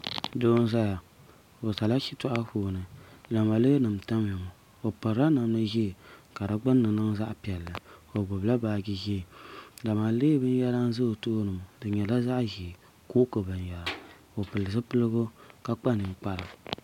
Doo n zaya o zala shitɔɣu puuni lamalee nima n tamiya ŋɔ o pirila namda zɛɛ ka di gbunni niŋ zaɣi piɛlli o gbubi la baaji zɛɛ lamalee bini yɛra n za o tooni ŋɔ di yɛla zaɣi ʒɛɛ kooki bini yɛra o pili zupiligu ka kpa ninkpara .